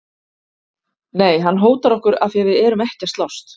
Nei, hann hótar okkur af því að við erum ekki að slást!